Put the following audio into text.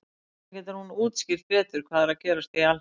hvernig getur hún útskýrt betur hvað er að gerast í alheiminum